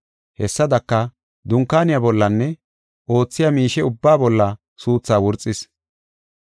Hessadaka, dunkaaniya bollanne oothiya miishe ubbaa bolla suuthaa wurxis.